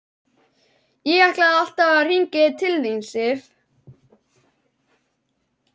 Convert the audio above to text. Ég ætlaði alltaf að hringja til þín, Sif.